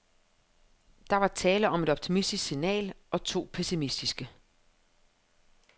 Der var tale om et optimistisk signal og to pessimistiske.